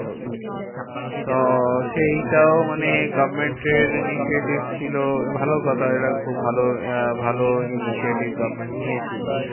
তো সেইটাও মানে government এর initiative ছিল ভালো কথা। এটা খুব ভাল আহ ভালো initiative government নিয়েছিল।